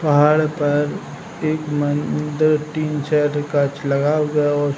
पहाड़ पर एक मम दो तीन चार कांच लगा हुवा है और --